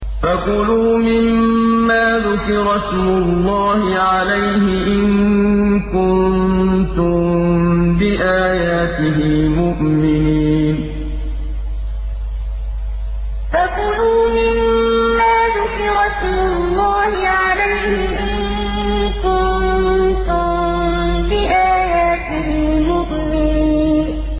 فَكُلُوا مِمَّا ذُكِرَ اسْمُ اللَّهِ عَلَيْهِ إِن كُنتُم بِآيَاتِهِ مُؤْمِنِينَ فَكُلُوا مِمَّا ذُكِرَ اسْمُ اللَّهِ عَلَيْهِ إِن كُنتُم بِآيَاتِهِ مُؤْمِنِينَ